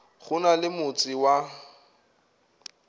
go na le motse wa